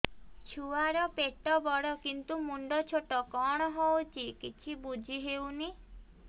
ଛୁଆର ପେଟବଡ଼ କିନ୍ତୁ ମୁଣ୍ଡ ଛୋଟ କଣ ହଉଚି କିଛି ଵୁଝିହୋଉନି